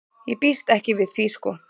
Ég býst ekki við því sko.